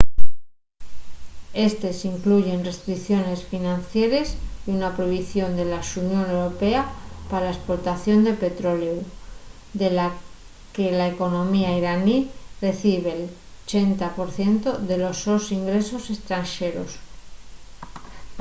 éstes incluyen restricciones financieres y una prohibición de la xunión europea pa la esportación de petroleu de la que la economía iraní recibe’l 80% de los sos ingresos estranxeros